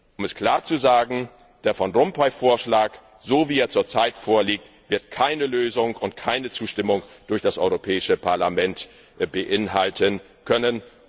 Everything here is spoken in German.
Um es klar zu sagen Der Van Rompuy Vorschlag so wie er zurzeit vorliegt wird keine Lösung und keine Zustimmung durch das Europäische Parlament beinhalten können.